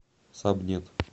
сабнет